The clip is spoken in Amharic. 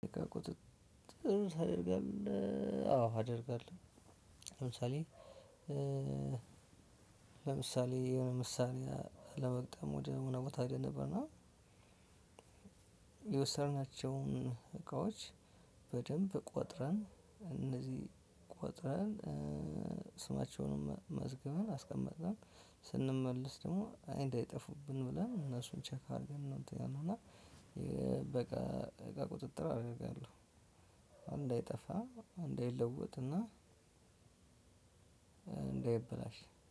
ቁጥጥር ታደርጋለሁ አዎ አደርጋለሁ። ለምሳሌ ለምሳሌ የሆነ ምሳሌ ለመግጠም ወደ ምንም ቦታ ሄደን ነበርና። የወሰድናቸው የወሰድናቸውን እቃዎች በደንብ ቆጥረን እነዚህ ቆጥረን ስማቸውን መዝገብን አስቀመጠን። ስንመልስ ደግሞ እንደ አይጠፉብን ብለን እነሱን ቼክ አድርገን ነው። እንትኛውን ሆና በቃ ቁጥጥር አደርጋለሁ። እንዳይጠፋ እንዳይለወጥና እንዳይበላሽ